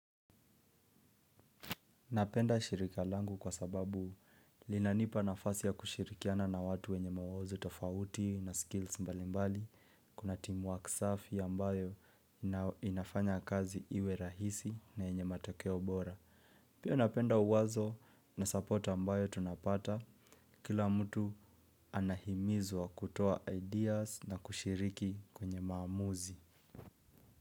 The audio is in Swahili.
Napenda shirika langu kwa sababu linanipa nafasi ya kushirikiana na watu wenye mawazo tofauti na skills mbali mbali. Kuna team work safi ambayo inafanya kazi iwe rahisi na yenye matakeo bora. Pia napenda uwazo na support ambayo tunapata kila mtu anahimizwa kutoa ideas na kushiriki kwenye maamuzi.